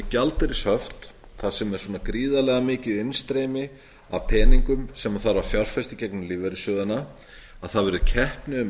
gjaldeyrishöft þar sem er svona gríðarlega mikið innstreymi af peningum sem þarf að fjárfesta í gegnum lífeyrissjóðina að það verður keppni um